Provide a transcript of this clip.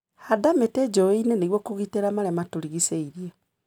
Handa mĩti njũĩnĩ nĩguo kũgitĩra marĩa matũrigicĩirie.